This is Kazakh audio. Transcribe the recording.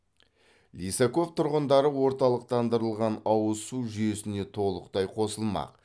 лисаков тұрғындары орталықтандырылған ауыз су жүйесіне толықтай қосылмақ